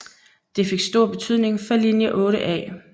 Det fik stor betydning for linje 8A